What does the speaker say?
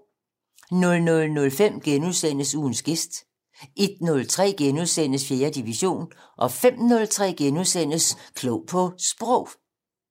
00:05: Ugens gæst * 01:03: 4. division * 05:03: Klog på Sprog *